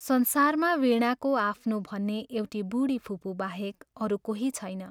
संसारमा वीणाको आफ्नो भन्ने एउटी बूढी फुपू बाहेक अरू कोही छैन।